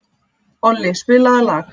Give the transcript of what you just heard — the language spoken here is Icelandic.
Olli, spilaðu lag.